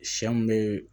Sɛ mun be